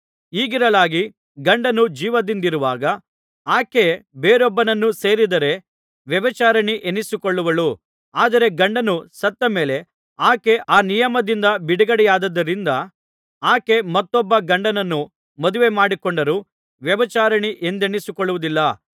ಹೀಗಿರಲಾಗಿ ಗಂಡನು ಜೀವದಿಂದಿರುವಾಗ ಆಕೆ ಬೇರೊಬ್ಬನನ್ನು ಸೇರಿದರೆ ವ್ಯಭಿಚಾರಿಣಿ ಎನಿಸಿಕೊಳ್ಳುವಳು ಆದರೆ ಗಂಡನು ಸತ್ತ ಮೇಲೆ ಆಕೆ ಆ ನಿಯಮದಿಂದ ಬಿಡುಗಡೆಯಾದ್ದರಿಂದ ಆಕೆ ಮತ್ತೊಬ್ಬ ಗಂಡನನ್ನು ಮದುವೆ ಮಾಡಿಕೊಂಡರೂ ವ್ಯಭಿಚಾರಿಣಿ ಎಂದೆನಿಸಿಕೊಳ್ಳುವುದಿಲ್ಲ